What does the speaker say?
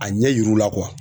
A ɲɛ yirl'u la